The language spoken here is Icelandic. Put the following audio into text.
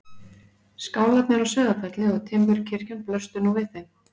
Skálarnir á Sauðafelli og timburkirkjan blöstu nú við þeim.